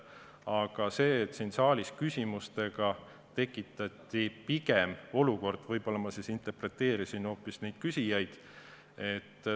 Aga kuna siin saalis pigem küsimustega tekitati selline olukord, siis võib-olla ma interpreteerisin hoopis neid küsijaid.